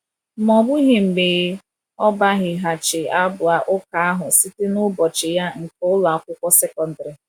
Ma ọ bụghị mgbe ọ gbaghịghachi abụ ụka ahụ site na ụbọchị ya nke ụlọ akwụkwọ sekọndrị.